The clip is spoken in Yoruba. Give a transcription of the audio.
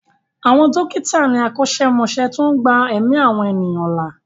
Àwọn dókítà ni akọ́ṣẹ́mọṣẹ́ tó ń gba ẹ̀mí àwọn ènìyàn là.